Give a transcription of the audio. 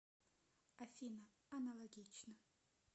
афина аналогично